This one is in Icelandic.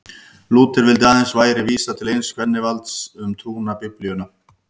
Lúther vildi að aðeins væri vísað til eins kennivalds um trúna, Biblíunnar.